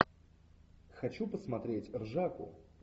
хочу посмотреть ржаку